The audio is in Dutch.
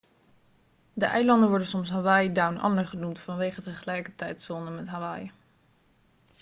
de eilanden worden soms hawaii down under' genoemd vanwege de gelijke tijdzone met hawaii